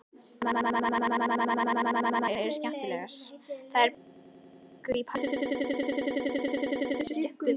Framburðaræfingarnar eru skemmtilegar.